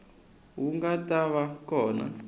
wu nga ta va kona